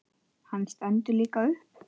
Hann stendur líka upp.